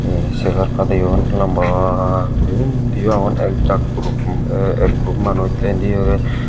he segar padeyon lamba guri undi yo agon ek jaak puro ek group manuch.